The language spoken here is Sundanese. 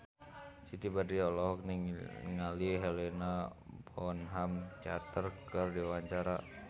Siti Badriah olohok ningali Helena Bonham Carter keur diwawancara